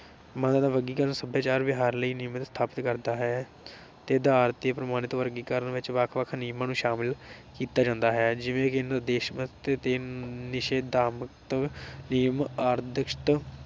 ਮਦਦ ਵਰਗੀਕਰਨ ਸਭਿਆਚਾਰ ਵਿਵਹਾਰ ਲਈ ਨਿਯਮਿਤ ਸਥਾਪਿਤ ਕਰਦਾ ਹੈ ਤੇ ਆਧਾਰ ਤੇ ਪ੍ਰਮਾਣਿਤ ਵਰਗੀਕਰਨ ਵਿਚ ਵੱਖ ਵੱਖ ਨਿਯਮਾਂ ਸ਼ਾਮਿਲ ਕੀਤਾ ਕੀਤਾ ਜਾਂਦਾ ਹੈ ਜਿਵੇਂ ਕਿ ਨਿਰਦੇਸ਼ਮਤ ਤੇ ਨਿਸ਼ੇਧਾਤਮਕ ਨਿਯਮ